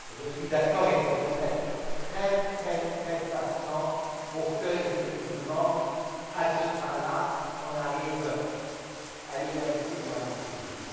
Je suis d'accord, il faudrait être extrêmement patient pour qu'effectivement, à ce train là, on arrive à l'égalité ou à l'équilibre.